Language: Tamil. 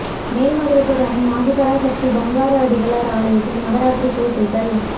மேல்மருவத்தூர் அன்னை ஆதிபராசக்தி பங்காரு அடிகளார் ஆலயத்தில் நவராத்திரி பூசைகள்